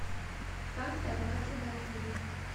как добраться до отеля